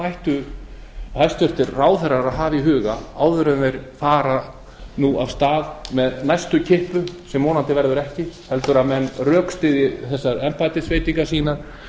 ættu hæstvirtur ráðherra að hafa í huga áður en þeir fara nú af stað með næstu kippu sem vonandi verður ekki heldur að menn rökstyðji þessar embættisveitingar sínar